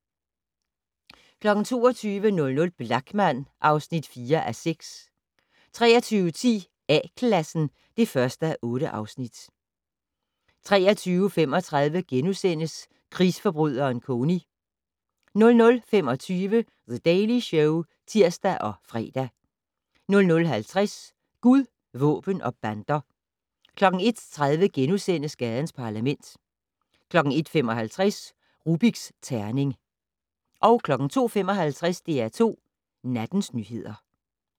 22:00: Blachman (4:6) 23:10: A-Klassen (1:8) 23:35: Krigsforbryderen Kony * 00:25: The Daily Show (tir og fre) 00:50: Gud, våben og bander 01:30: Gadens Parlament * 01:55: Rubiks terning 02:55: DR2 Nattens nyheder